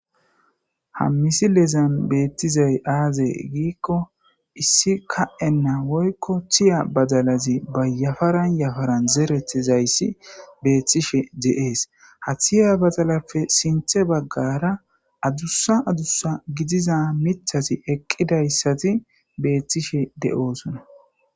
hammisi leezan beettizay aazee giikko issi ka7enna woykko tiya badalazi bayafaran yafaran zeretizayssi beethtishe deees ha thiya badalappe sinthe baggara adussa adussa gidiza mithasi eqqidayssati beethtishe de7oosona